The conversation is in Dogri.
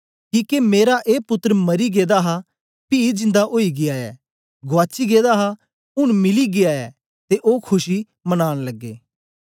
किके मेरा ए पुत्तर मरी गेदा हा पी जिन्दा ओई गीया ऐ गुआची गेदा हा ऊन मिली गीया ऐ ते ओ खुशी मनान लगे